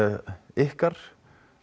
ykkar